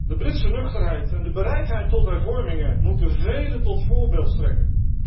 De Britse nuchterheid en de bereidheid tot hervormingen moeten velen tot voorbeeld strekken.